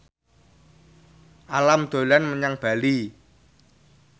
Alam dolan menyang Bali